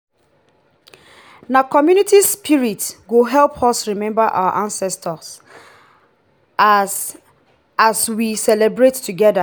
na community spirit go help us remember our ancestors as as we celebrate together.